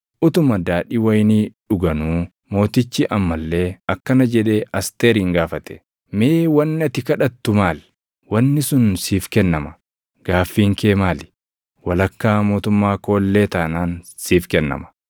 Utuma daadhii wayinii dhuganuu mootichi amma illee akkana jedhee Asteerin gaafate; “Mee wanni ati kadhattu maal? Wanni sun siif kennama. Gaaffiin kee maali? Walakkaa mootummaa koo illee taanaan siif kennama.”